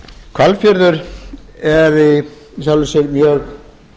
hvalfjörður er í sjálfu sér mjög